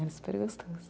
Era super gostoso.